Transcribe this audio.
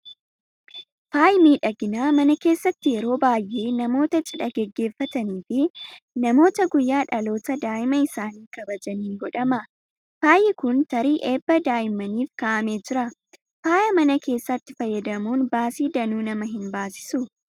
Faayi miidhaginaa mana keessatti yeroo baay'ee namoota cidha gaggeeffatanii fi namoota guyyaa dhaloota daa'ima isaanii kabajaniin godhama. Faayi kun tarii eebba daa'imaniif kaa'amee jira. Faaya mana keessatti fayyadamuun baasii danuu nama hin baasisuu?